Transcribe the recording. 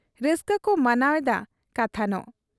ᱨᱟᱹᱥᱠᱟᱹᱠᱚ ᱢᱟᱱᱟᱣ ᱮᱫᱟ ᱠᱟᱛᱷᱟᱱᱚᱜ ᱾